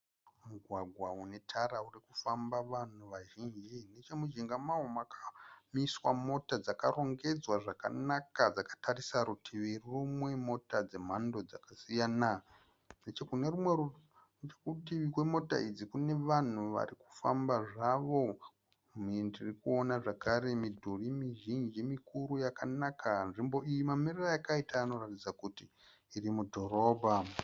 Mugwagwa unetara urikufamba vanhu vazhinji, nechemujinga mawo makamiswa mota dzakarongedzwa zvakanaka dzakatarisa rutivi rumwe. Mota dzemhando dzakasiyana. Nechekunerumwe rutivi kwemota idzi kune vanhu varikufamba zvavo. Ndirikuona zvakare midhuri mizhinji mikuru yakanaka. Nzvimbo iyi mamiriro ayakaita inoratidza kuti irimudhorobha